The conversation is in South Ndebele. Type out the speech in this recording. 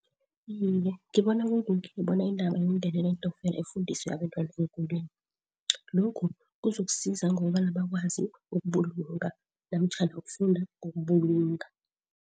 Iye, ngibona kulungile bona indaba yokungenela iintokfela ifundiswe abantwana eenkolweni, lokhu kuzokusiza ngokobana bakwazi ukubulunga namtjhana ukufunda ngokubulunga.